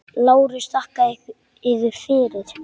LÁRUS: Þakka yður fyrir.